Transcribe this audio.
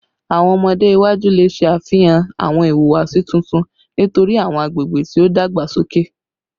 Awọn ọmọde iwaju le ṣe afihan awọn ihuwasi tuntun nitori awọn agbegbe ti o dagbasoke